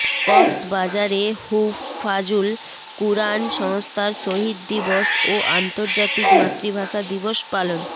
কক্সবাজারে হুফফাজুল কুরআন সংস্থার শহীদ দিবস ও আন্তর্জাতিক মাতৃভাষা দিবস পালন